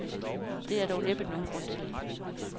Det er der dog næppe nogen grund til.